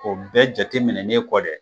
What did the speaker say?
O bɛɛ jateminen kɔ dɛ,